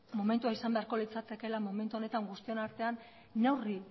momentua izan beharko litzatekeela momentu honetan guztion artean neurri